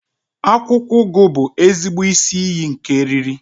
Akwụkwọ ugu bụ ezigbo isi iyi nke eriri